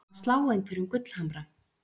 Að slá einhverjum gullhamra